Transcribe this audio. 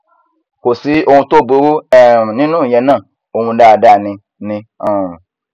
kò sí ohun tó burú um nínú ìyẹn náà ọhún dáadáa ni ni um